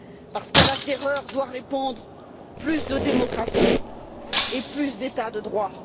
Parce qu'à la terreur doit répondre plus de démocratie et plus d'état de droit.